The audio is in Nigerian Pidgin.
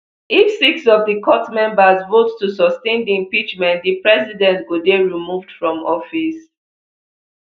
if six of di court members vote to sustain di impeachment di president go dey removed from office